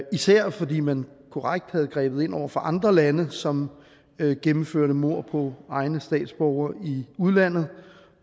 især fordi man korrekt havde grebet ind over for andre lande som gennemførte mord på egne statsborgere i udlandet